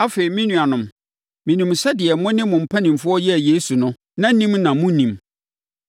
“Afei, me nuanom, menim sɛ deɛ mo ne mo mpanimfoɔ yɛɛ Yesu no, na ɔnim na monnim.